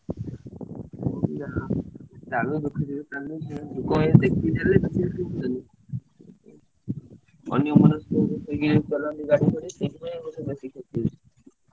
।